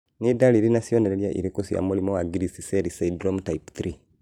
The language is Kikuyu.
Nĩ ndariri na cionereria irĩkũ cia mũrimũ wa Griscelli syndrome type 3?